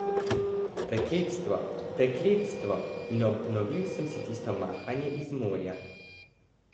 Prekletstvo, prekletstvo, in obnovil sem si tisto mahanje iz morja.